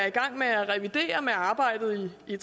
i gang med at revidere med arbejdet i